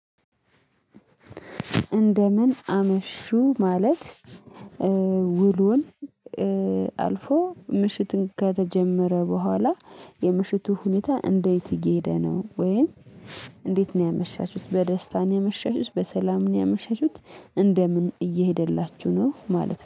እንደምን አመሹ ማለት ውሉን አልፎ ምሽትን ከተጀመረ በኋላ የምሽቱ ሁኔታ እንዴት እየሄደ ነው ወይም እንዴት ነው ያመሻችሁት በደስታ ነው ያመሻችሁት በሰላም ነው ያመሻችሁት እንደምን እየሄደላችሁ ነው ማለት ነው።